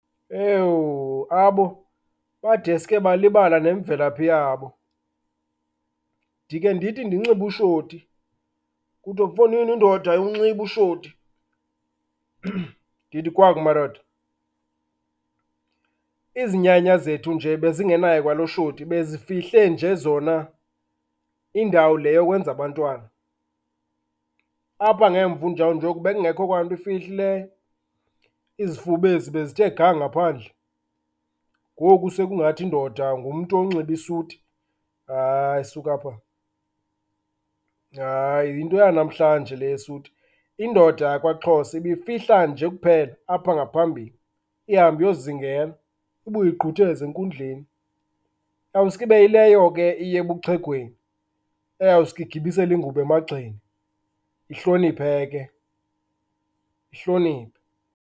Ewu, abo badeske balibala nemvelaphi yabo. Ndikhe ndithi ndinxibe ushoti kuthiwe, mfondini, indoda ayiwunxibi ushoti. Ndithi kwaku, madoda, izinyanya zethu nje bezingenaye kwalo shoti, bezifihle nje zona indawo le yokwenza abantwana. Apha ngemva, unjawunjoku, bekungekho kwanto ifihlileyo. Izifuba ezi bezithe ga ngaphandle. Ngoku sekungathi indoda ngumtu onxiba isuti? Hayi, suka apha. Hayi, yinto yanamhlanje le yesuti. Indoda yakwaXhosa ibifihla nje kuphela apha ngaphambili, ihambe iyozingela, ibuye igqutheze enkundleni. Iyawuske ibe yileyo ke iya ebuxhegweni, iyawuske igibisele ingubo emagxeni ihloniphe ke, ihloniphe.